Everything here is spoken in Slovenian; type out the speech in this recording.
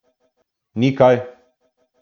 Ni kaj!